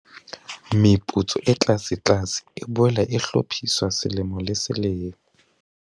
Meputso e tlasetlase e boela e hlophiswa selemo le selemo.